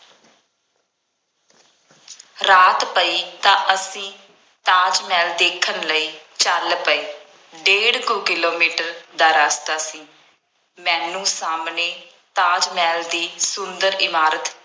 ਰਾਤ ਪਈ ਤਾਂ ਅਸੀਂ ਤਾਜ ਮਹਿਲ ਦੇਖਣ ਲਈ ਚੱਲ ਪਏ। ਡੇਢ ਕੁ ਕਿਲੋਮੀਟਰ ਦਾ ਰਸਤਾ ਸੀ। ਮੈਨੂੰ ਸਾਹਮਣੇ ਤਾਜ ਮਹਿਲ ਦੀ ਸੁੰਦਰ ਇਮਾਰਤ